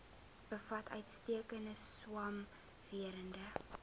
bevat uitstekende swamwerende